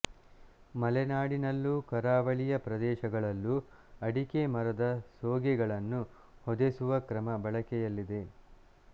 ಮಲೆನಾಡಿನಲ್ಲೂ ಕರಾವಳಿಯ ಪ್ರದೇಶಗಳಲ್ಲೂ ಅಡಿಕೆ ಮರದ ಸೋಗೆಗಳನ್ನು ಹೊದೆಸುವ ಕ್ರಮ ಬಳಕೆಯಲ್ಲಿದೆ